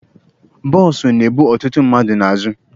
Bụsọ na ebu ọtụtụ mmadụ n'azụ.